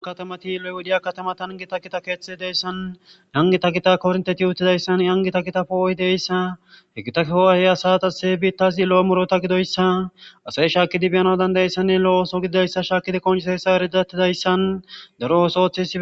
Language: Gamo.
katamati udiya katama tan gita kita keexxi deyssan yangita kita kornteti yuttidayssan yangita kita fooohi deyssa hegitafoahey asatase biittasi lo7o murota gidoyssa asay shaakidi biyana dandayessanne lo7o ooso gididayssa shaakidi qonhuseesa eridattidayssan daro oos oothe